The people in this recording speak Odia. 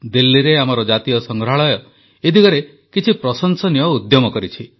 ଦିଲ୍ଲୀରେ ଆମର ଜାତୀୟ ସଂଗ୍ରହାଳୟ ଏ ଦିଗରେ କିଛି ପ୍ରଶଂସନୀୟ ଉଦ୍ୟମ କରିଛି